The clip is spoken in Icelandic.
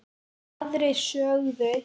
Aðrir sögðu: